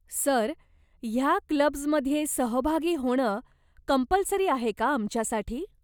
Sir, ह्या clubs मध्ये सहभागी होणं कंपलसरी आहे का आमच्यासाठी ?